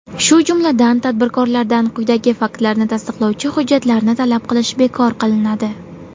shu jumladan tadbirkorlardan quyidagi faktlarni tasdiqlovchi hujjatlarni talab qilish bekor qilinadi:.